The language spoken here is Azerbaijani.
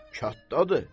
Kənddədir.